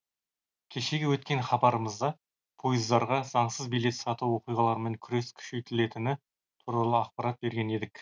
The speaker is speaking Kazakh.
кешегі өткен хабарымызда пойыздарға заңсыз билет сату оқиғалармен күрес күшейтілетіні туралы ақпарат берген едік